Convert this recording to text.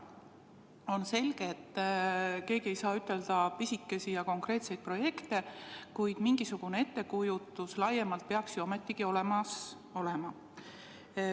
On selge, et keegi ei saa nimetada pisikesi ja konkreetseid projekte, kuid mingisugune ettekujutus laiemalt peaks ju ometigi olemas olema.